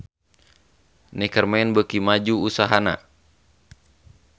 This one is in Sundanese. Neckerman beuki maju usahana